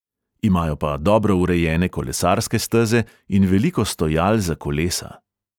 Imajo pa dobro urejene kolesarske steze in veliko stojal za kolesa.